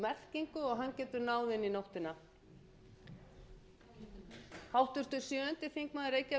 í þess orðs merkingu og hann getur náð inn í nóttina